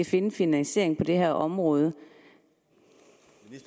til en finansiering af det her område